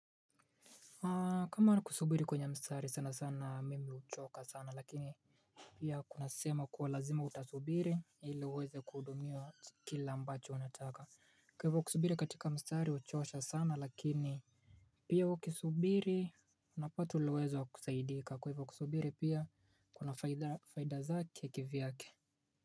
Kama ni kusubiri kwenye mstari sana sana mimi huchoka sana lakini pia kuna sehemu ya kuwa lazima utasubiri ili uweze kuhudumiwa kila ambacho unataka. Kwa hivyo kusubiri katika mstari huchosha sana lakini pia ukisubiri unapata uliweza kusaidika kwa hivyo kusubiri pia kuna faidazake kivyake.